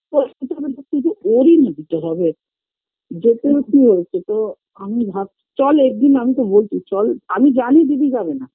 তে কি ওর ই না দিতে হবে যেতে ওর কি হয়েছে তো আমি ভাবছি চল একদিন আমি তো বলছি চল আমি জানি দিদি যাবে না